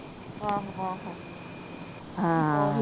ਆਹ